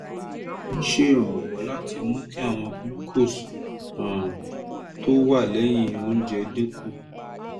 ó ń ṣèrànwọ́ láti mú kí ìwọ̀n glucose um tó wà lẹ́yìn oúnjẹ dín kù